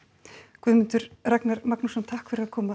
Guðmundur Ragnar Magnússon takk fyrir komuna